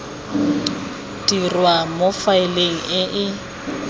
dirwa mo faeleng e e